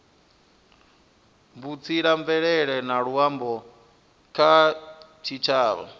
vhutsila mvelele na luambo kha tshitshavha